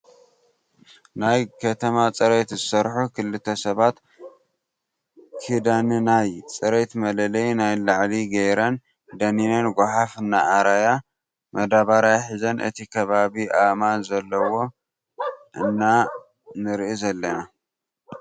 ናይ ከተማ ፅሬት ዝሰርሑ ክልተ ሰባት ክዳንናይ ፅሬት መለለይ ናይ ላዕሊ ገይረን ደኒነን ጋሓፍ እናኣረያ መዳበርያ ሒዘን እቲ ከባቢ አእማን ዘለዎ እና ንርኢ ዘለና።